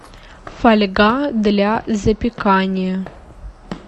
фольга для запекания